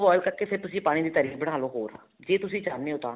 ਉਹ boil ਕਰਕੇ ਪਾਣੀ ਦੀ ਤਰੀ ਬਨਾਲੋ ਹੋਰ ਜੇ ਤੁਸੀਂ ਚਾਹੁੰਨੇ ਹੋ ਤਾਂ